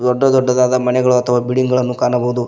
ದೊಡ್ಡ ದೊಡ್ಡದಾದ ಮನೆಗಳು ಅಥವಾ ಬಿಲ್ಡಿಂಗ್ ಗಳನ್ನು ಕಾಣಬಹುದು.